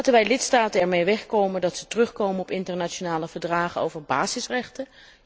Laten wij lidstaten ermee wegkomen dat ze terugkomen op internationale verdragen over basisrechten?